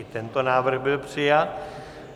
I tento návrh byl přijat.